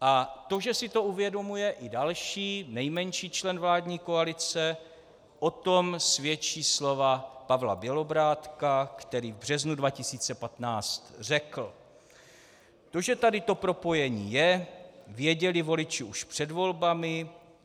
A to, že si to uvědomuje i další, nejmenší člen vládní koalice, o tom svědčí slova Pavla Bělobrádka, který v březnu 2015 řekl: To, že tady to propojení je, věděli voliči už před volbami.